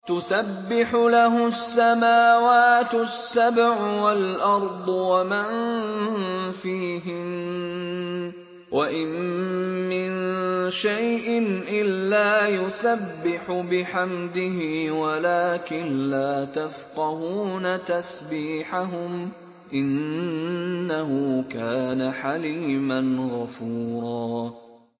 تُسَبِّحُ لَهُ السَّمَاوَاتُ السَّبْعُ وَالْأَرْضُ وَمَن فِيهِنَّ ۚ وَإِن مِّن شَيْءٍ إِلَّا يُسَبِّحُ بِحَمْدِهِ وَلَٰكِن لَّا تَفْقَهُونَ تَسْبِيحَهُمْ ۗ إِنَّهُ كَانَ حَلِيمًا غَفُورًا